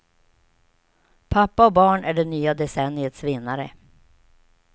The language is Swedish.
Pappa och barn är det nya decenniets vinnare.